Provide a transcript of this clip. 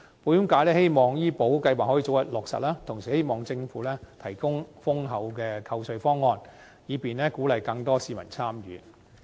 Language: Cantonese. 保險界希望醫保計劃可以早日落實，同時希望政府提供優厚的扣稅方案，以便鼓勵更多市民參與。